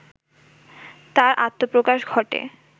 তাঁর আত্মপ্রকাশ ঘটে